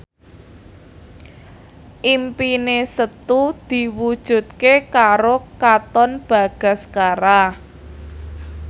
impine Setu diwujudke karo Katon Bagaskara